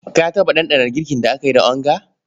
Ka taɓa ɗanɗana girkin da aka yi da onga?